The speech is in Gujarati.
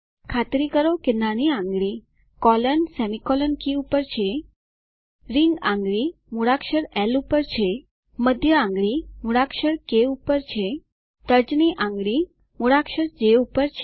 ખાતરી કરો કે નાની આંગળી કોલોન સેમીકોલન કી પર છે રીંગ આંગળી મૂળાક્ષર એલ પર છે મધ્ય આંગળી મૂળાક્ષર કે પર છે તર્જની આંગળી મૂળાક્ષર જે પર છે